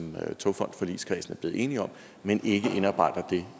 togfondforligskredsen er blevet enige om men ikke indarbejder det